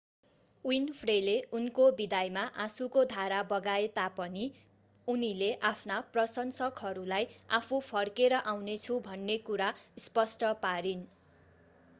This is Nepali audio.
विन्फ्रेले उनको विदाईमा आँशुको धारा बगाए तापनि उनीले आफ्ना प्रशंसकहरूलाई आफू फर्केर आउनेछु भन्ने कुरा स्पष्ट पारिन्